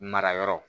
Mara yɔrɔ